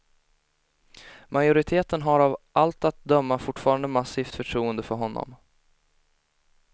Majoriteten har av allt att döma fortfarande massivt förtroende för honom.